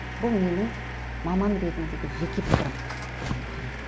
бұл менің маман ретіндегі жеке пікірім